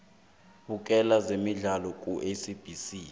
bukela zemidlalo kusabc